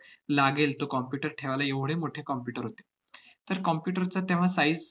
लागेल तो computer ठेवायला एवढे मोठे computer होते. तर computer चा तेव्हा size